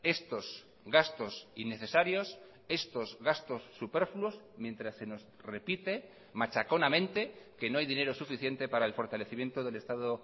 estos gastos innecesarios estos gastos superfluos mientras se nos repite machaconamente que no hay dinero suficiente para el fortalecimiento del estado